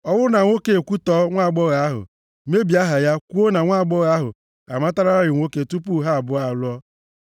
ọ bụrụ na nwoke a ekwutọọ nwaagbọghọ ahụ, mebie aha ya kwuo na nwaagbọghọ ahụ amatalarị nwoke tupu ha abụọ alụọ,